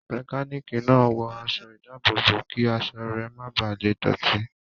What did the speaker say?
Mẹkánìkì náà wọ aṣọ ìdábòbò kí aṣọ rẹ ma bà le dọ̀tí